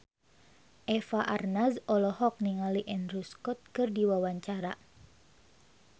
Eva Arnaz olohok ningali Andrew Scott keur diwawancara